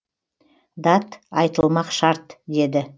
дат айтылмақ шарт деді